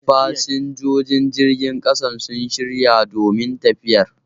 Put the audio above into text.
Fasinjojin jirgin ƙasan sun shirya domin tafiyar